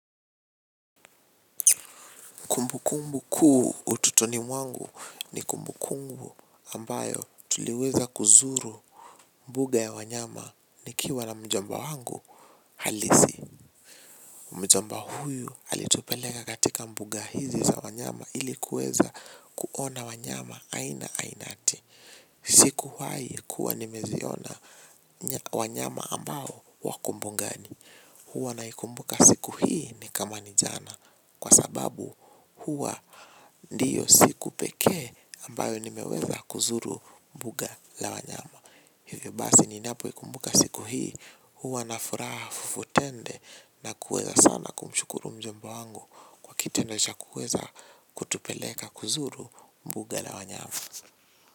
Kumbu kumbu kuu utotoni mwangu ni kumbu kumbu ambayo tuliweza kuzuru mbuga ya wanyama nikiwa na mjomba wangu halisi. Mjomba huyu alitupeleka katika mbuga hizi za wanyama hili kuweza kuona wanyama aina ainati. Sikuwahi kuwa nimeziona wanyama ambao wako mbugani. Huwa naikumbuka siku hii ni kama ni jana kwa sababu huwa ndiyo siku pekee ambayo nimeweza kuzuru mbuga la wanyama. Hivyo basi ninapoikumbuka siku hii huwa na furaha fufutende na kuweza sana kumshukuru mjomba wangu kwa kitendo cha kuweza kutupeleka kuzuru mbuga la wanyama.